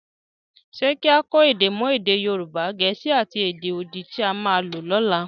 Ṣé kí á kọ́ èdè mọ́ èdè Yorùbá, Gẹ̀ẹ́sì, àti èdè odi tí a mọ lọ́la?